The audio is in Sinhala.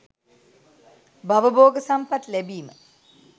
භව භෝග සම්පත් ලැබීම,